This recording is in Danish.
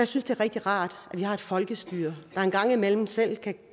synes det er rigtig rart at vi har et folkestyre der engang imellem selv kan